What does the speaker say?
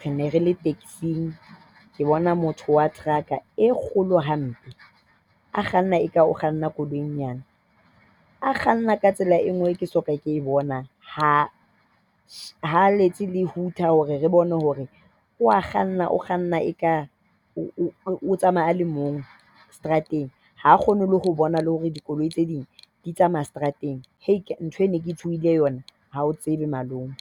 re ne re le tekesing. Ke bona motho wa trucker e kgolo hampe, a kganna eka o kganna koloi e nyane. A kganna ka tsela e nngwe eo ke soka ke e bona. Ha a letse le hooter hore re bone hore o a kganna. O kganna eka o tsamaya a le mong seterateng. Ha a kgone le ho bona le hore dikoloi tse ding di a tsamaya strateng. Ntho eo ke neng ke e tshohile yona, ha o tsebe malome.